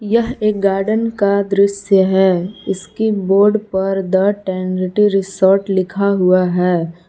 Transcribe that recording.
यह एक गार्डन का दृश्य है इसकी बोर्ड पर द टेनरिटी रिसोर्ट लिखा हुआ है।